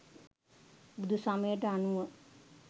බුදු සමයට අනුව